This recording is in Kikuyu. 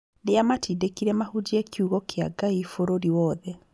Nĩamatindĩkire mahunjie kiugo kĩa Ngai bũrũri wothe